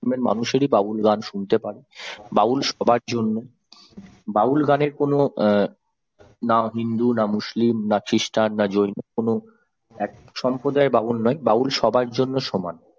ধর্মের মানুষই বাউল গান শুনতে পারে বাউল সবার জন্য বাউল গানের কোন অ্যাঁ না হিন্দু না মুসলিম না খ্রিস্টান না জৈন কোন এক সম্প্রদায় বাউল নয় বাউল সবার জন্য সমান।